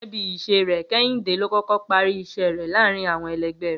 Gé̩gé̩ bí ìs̩e rè̩, Ké̩hìndé ló kó̩kó̩ parí ìs̩é̩ rè̩ láàárín àwo̩n e̩le̩gbé̩ rè̩